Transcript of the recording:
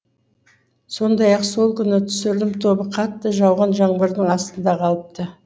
сондай ақ сол күні түсірілім тобы қатты жауған жаңбырдың астында қалыпты